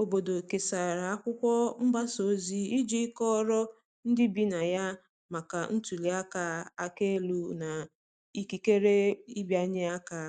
obodo kesara akwụkwo mgbasa ozi iji kọoro ndi ibi na ya maka ntuli aka aka elu na ikekere ịbịanye aka